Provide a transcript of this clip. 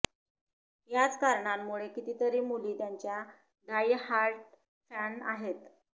याच कारणामुळे कितीतरी मुली त्याच्या डाइ हार्ड फॅन आहेत